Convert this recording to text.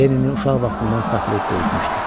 Lenini uşaq vaxtından saxlayıb böyütmüşdü.